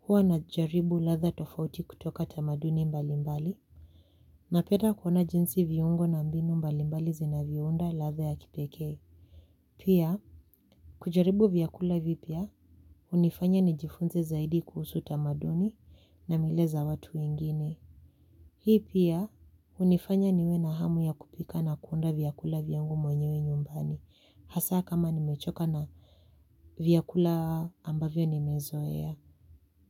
huwa najaribu latha tofauti kutoka tamaduni mbalimbali, na penda kuona jinsi viungo na mbinu mbalimbali zinaviounda latha ya kipeke. Pia, kujaribu vyakula vipia, unifanya ni jifunze zaidi kuhusu tamaduni na milaza watu wengine. Hii pia unifanya niwe na hamu ya kupika na kuonda vyakula vyangu mwenyewe nyumbani hasa kama nimechoka na vyakula ambavyo nimezoea.